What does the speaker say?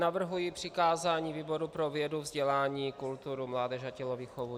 Navrhuji přikázání výboru pro vědu, vzdělání, kulturu, mládež a tělovýchovu.